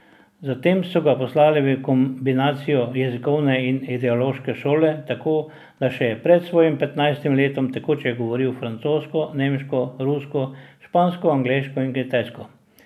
Zatem so ga poslali v kombinacijo jezikovne in ideološke šole, tako da je še pred svojim petnajstim letom tekoče govoril francosko, nemško, rusko, špansko, angleško in kitajsko.